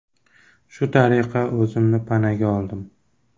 Shu tariqa o‘zimni panaga oldim.